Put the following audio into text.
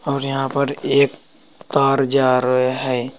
और यहां पर एक तार जा रहे हैं।